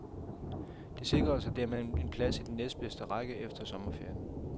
De sikrede sig dermed en plads i den næstbedste række efter sommerferien.